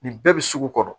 Nin bɛɛ bɛ sugu kɔnɔ